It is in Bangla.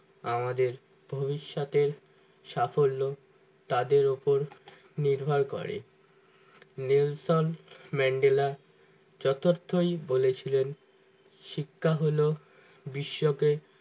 আমাদের ভবিষ্যতের সাফল্য তাদের উপর নির্ভর করে মেনশন ম্যান্ডেলা চতুর্থই বলে ছিলেন শিক্ষা হলো বিশ্বকে